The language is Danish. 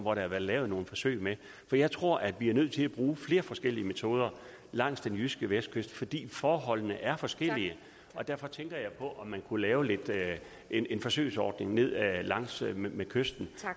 har været lavet nogle forsøg med for jeg tror vi er nødt til at bruge flere forskellige metoder langs den jyske vestkyst fordi forholdene er forskellige og derfor tænker jeg på om man kunne lave en forsøgsordning ned langs med kysten